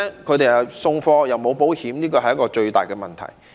他們送貨又沒有保險，這是最大的問題。